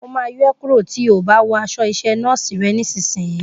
Mo máa yọ é kúrò tí o bá wò aṣọ iṣẹ́ nọ́ọ́sì rẹ nísìsiyìí